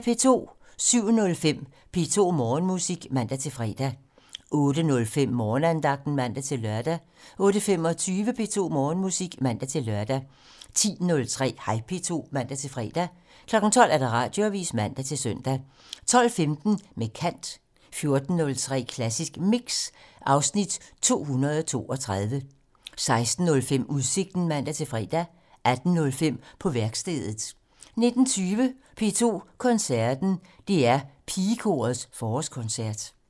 07:05: P2 Morgenmusik (man-fre) 08:05: Morgenandagten (man-lør) 08:25: P2 Morgenmusik (man-lør) 10:03: Hej P2 (man-fre) 12:00: Radioavisen (man-søn) 12:15: Med kant 14:03: Klassisk Mix (Afs. 232) 16:05: Udsigten (man-fre) 18:05: På værkstedet (man) 19:20: P2 Koncerten - DR Pigekorets forårskoncert